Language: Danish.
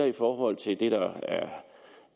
i forhold til det der